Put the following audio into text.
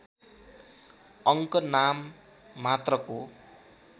अङ्क नाम मात्रको